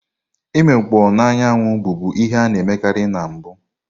Imikpoo n'anwụ, bụbu ihe a na-emekarị na mbụ.